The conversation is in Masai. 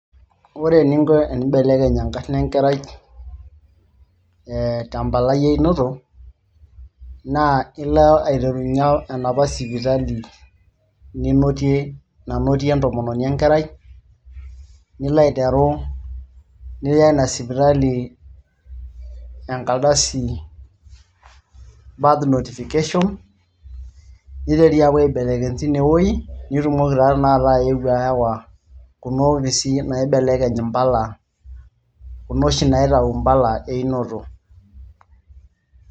ore eninko enimbelekeny enkarna enkerai ee tempalai einoto naa ilo aiterunyie enapa sipitali ninotie nanotie entomononi enkerai nilo aiteru niya ina sipitali enkaldasi birth notification niteri aapuo aibelekeny tine wueji nitumoki taa tenakata ayeu ayawa kuna opisi naibelekeny impala kuna oshi naitau impala einoto.